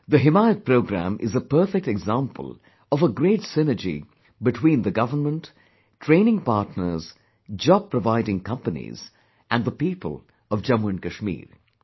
The 'HimayatProgramme'is a perfect example of a great synergy between the government, training partners, job providing companies and the people of Jammu and Kashmir